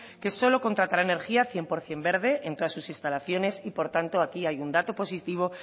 que solo contratará energía cien por ciento verde en todas sus instalaciones y por tanto aquí hay un dato positivo